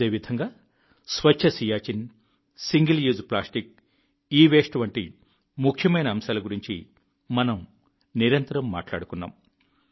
అదేవిధంగా Swachh Siachen single use plastic e waste వంటి ముఖ్యమైన అంశాల గురించి మనం నిరంతరం మాట్లాడుకున్నాం